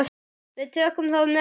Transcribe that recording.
Við tökum það með okkur.